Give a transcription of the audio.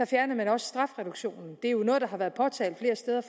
fjernede man også strafreduktionen det er jo noget der har været påtalt